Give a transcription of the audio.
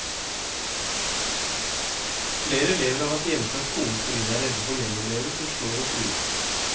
Flere elever har vært hjemme fra skolen fordi de er redde for medelever som slår og truer.